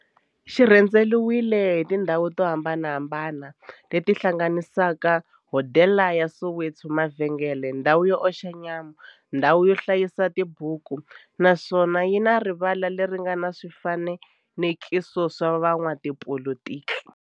Xi rhendzeriwile hi tindhawu to hambanahambana le ti hlanganisaka, hodela ya Soweto, mavhengele, ndhawu yo oxa nyama, ndhawu yo hlayisa tibuku, naswona yi na rivala le ri nga na swifanekiso swa vo n'watipolitiki.